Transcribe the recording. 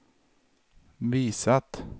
visat